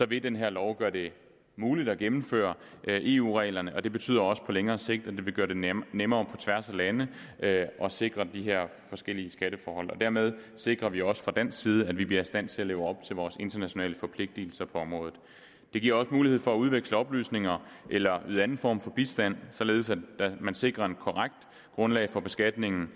vil den her lov gøre det muligt at gennemføre eu reglerne det betyder også på længere sigt at det vil gøre det nemmere nemmere at sikre de her forskellige skatteforhold på dermed sikrer vi også fra dansk side at vi bliver i stand til at leve op til vores internationale forpligtelser på området det giver også mulighed for at udveksle oplysninger eller yde anden form for bistand således at man sikrer et korrekt grundlag for beskatningen